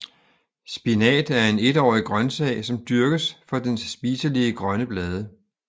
Spinat er en etårig grøntsag som dyrkes for dens spiselige grønne blade